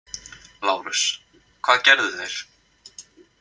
LÁRUS: Hvað gerðu þeir?